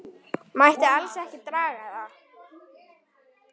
Mætti alls ekki draga það.